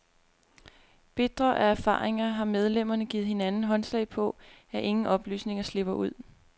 Bitre af erfaringer har medlemmerne givet hinanden håndslag på, at ingen oplysninger slipper ud.